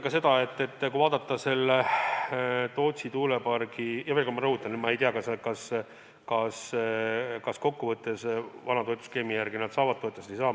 Mis puutub Tootsi tuuleparki, siis ma veel kord rõhutan, et ma ei tea, kas nad kokkuvõttes vana toetusskeemi järgi saavad toetust või ei saa.